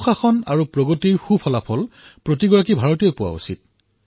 প্ৰতিজন ভাৰতীয়ৰ চিন্তা সুশাসন আৰু বিকাশৰ ভাল পৰিণামৰ প্ৰতি হব লাগে